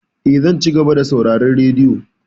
Eh, zan cigaba da sauraron radiyo.